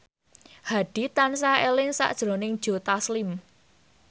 Hadi tansah eling sakjroning Joe Taslim